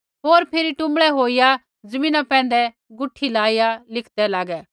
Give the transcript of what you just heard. होर फिरी टुँबड़ै होईया ज़मीना पैंधै गुठी लाइया लिखदै लागै